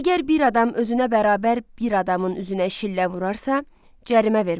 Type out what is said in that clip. Əgər bir adam özünə bərabər bir adamın üzünə şillə vurarsa, cərimə verməlidir.